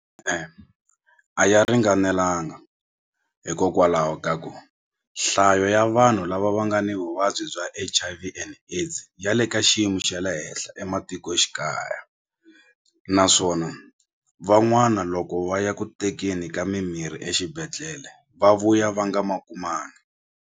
a ya ringanelanga hikokwalaho ka ku nhlayo ya vanhu lava va nga ni vuvabyi bya H_I_V and AIDS ya le ka xiyimo xa le henhla ematikoxikaya naswona van'wana loko va ya ku tekeni ka mimirhi exibedhlele va vuya va nga ma kumanga.